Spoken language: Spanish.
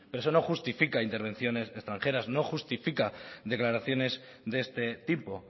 pero eso no justifica intervenciones extranjeras no justifica declaraciones de este tipo